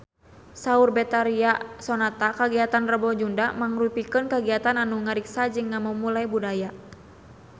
Saur Betharia Sonata kagiatan Rebo Nyunda mangrupikeun kagiatan anu ngariksa jeung ngamumule budaya Sunda